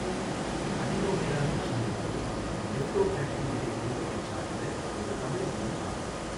Adenomera லுட்சி என்பது லெப்டோடேக்டிலிடே குடும்பத்தைச் சாா்ந்த ஓா் தவளை இனம் ஆகும்.